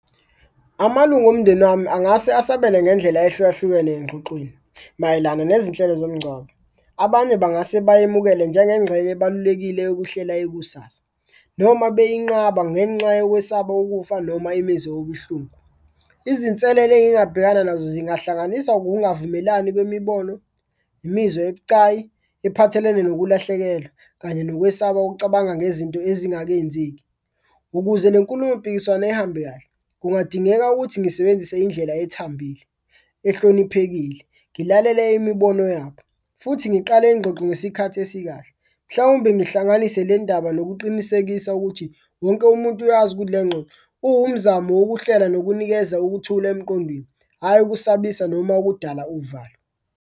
Amalunga omndeni wami angase asabele ngendlela ehlukahlukene engxoxweni mayelana nezinhlelo zomngcwabo, abanye bangase bayemukele njengengxenye ebalulekile yokuhlela ikusasa noma bayinqaba ngenxa yokwesaba ukufa noma imizwa yobuhlungu. Izinselelo engingabhekana nazo zingahlanganisa ukungavumelani kwemibono, imizwa ebucayi ephathelene nokulahlekelwa kanye nokwesaba okucabanga ngezinto ezingakenzeki. Ukuze le nkulumo mpikiswano ihambe kahle kungadingeka ukuthi ngisebenzise indlela ethambile, ehloniphekile, ngilalele imibono yabo futhi ngiqale ingxoxo ngesikhathi esikahle. Mhlawumbe ngihlanganise le ndaba ukuqinisekisa ukuthi wonke umuntu uyazi ukuthi le ngxoxo, uwumzamo wokuhlela nokunikeza ukuthula emqondweni, hhayi ukusabisa noma ukudala uvalo.